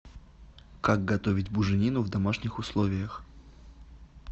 как готовить буженину в домашних условиях